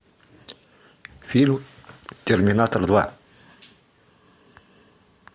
фильм терминатор два